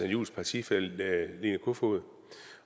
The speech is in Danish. juhls partifælle line barfod